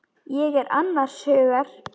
Ég er annars hugar.